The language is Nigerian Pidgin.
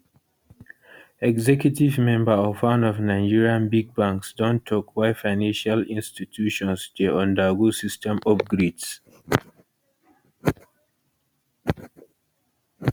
executive member of one of nigerian big banks don tok why financial institutions dey undergo system upgrades